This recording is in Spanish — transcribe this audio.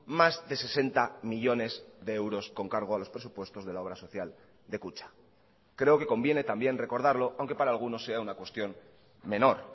más de sesenta millónes de euros con cargo a los presupuestos de la obra social de kutxa creo que conviene también recordarlo aunque para algunos sea una cuestión menor